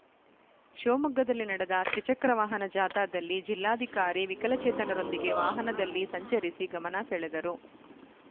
ಶಿವಮೊಗ್ಗದಲ್ಲಿ ನಡೆದ ತ್ರಿಚಕ್ರ ವಾಹನ ಜಾಥದಲ್ಲಿ ಜಿಲ್ಲಾಧಿಕಾರಿ ವಿಕಲಚೇತನರೊಂದಿಗೆ ವಾಹನದಲ್ಲಿ ಸಂಚರಿಸಿ ಗಮನ ಸೆಳೆದರು